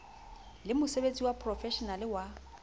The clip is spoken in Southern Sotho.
le mosebetsi wa profeshenale wa